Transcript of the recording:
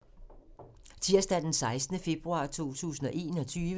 Tirsdag d. 16. februar 2021